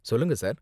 சொல்லுங்க சார்.